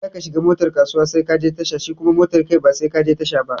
In za ka shiga motar kasuwa sai ka je tasha shi kuma motar kai ba sai ka je tasha ba.